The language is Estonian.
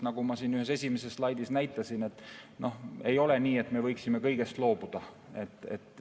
Nagu ma siin ühel esimesel slaidil näitasin, ei ole nii, et me võiksime kõigest loobuda.